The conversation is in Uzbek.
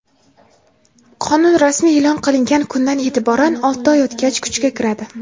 Qonun rasmiy eʼlon qilingan kundan eʼtiboran olti oy o‘tgach kuchga kiradi.